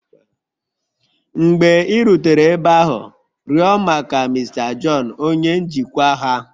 Mgbe ị rutere ebe ahụ, rịọ maka Mr John onye njikwa ha.